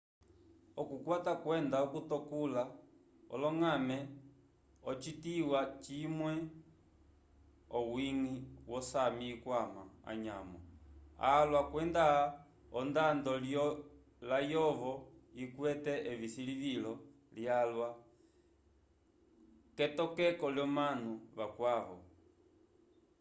okukwata kwenda okutekula oloñgame ocituwa cimwe owiñgi wo sámi ikwama anyamo alwa kwenda ondando layovo ikwete esilivilo lyalwa k'etokeko l'omanu vakwavo